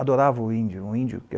Adorava o índio. O índio